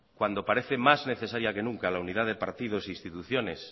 cuando parece más necesaria que nunca la unidad de partidos e instituciones